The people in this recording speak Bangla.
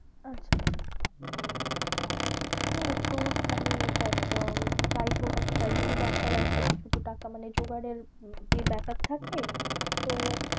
আচ্ছা আচ্ছা হ্যাঁ তোর মানে দেখ আহ যাক হোক একটা surgery ব্যাপার আছে কিছু তো টাকা মানে জোগাড়ের ব্যাপার থাকে তো